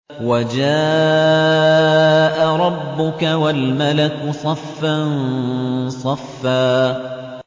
وَجَاءَ رَبُّكَ وَالْمَلَكُ صَفًّا صَفًّا